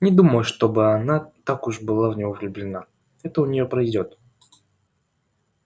не думаю чтобы она так уж была в него влюблена это у неё пройдёт